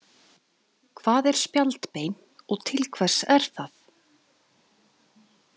Hvað er spjaldbein og til hvers er það?